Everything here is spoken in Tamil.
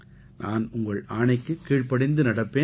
நான் உங்கள் ஆணைக்குக் கீழ்ப்படிந்து நடப்பேன்